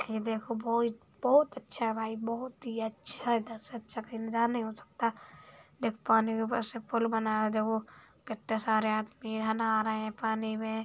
ये देखो बोहोत बहोत अच्छा है भाई बहोत ही अच्छा है। इधर से अच्छा कही नज़ारा नहीं हो सकता। देखो पानी के ऊपर से पुल बना है। देखो कितने सारे आदमी यहाँ नहा रहे हैं पानी में।